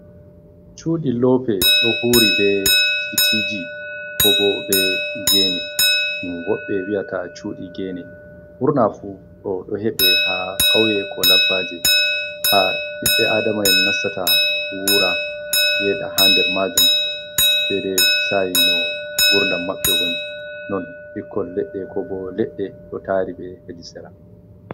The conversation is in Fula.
Cuɗi lope, ɗo huri ɓe titiji, ko ɓo ɓe gene. Ɗum woɓɓe wi'ata cuɗi gene. Ɓurna fu ɗo ɗo heɓe ha kauye, ko laɓɓaje. Ha ɓiɓɓe aɗamaen nastata wura, yeɗa ha nɗer majum. Ɗaiɗai sa'i no gurɗam maɓɓe woni. Non ɓikkol leɗɗe, ko ɓo leɗɗe ɗo tari ɓe heɗi sera.